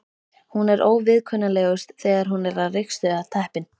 Hún er óviðkunnanlegust þegar hún er að ryksuga teppin.